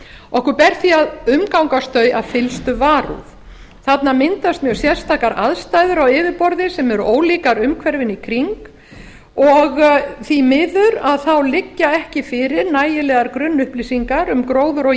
okkur ber því að umgangast þau af fyllstu varúð þarna myndast mjög sérstakar aðstæður á yfirborði sem eru ólíkar umhverfinu í kring og því miður liggja ekki fyrir nægilegar grunnupplýsingar um gróður og